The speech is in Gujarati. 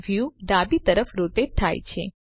વ્યુ ડાબી તરફ રોટેટ થાય છે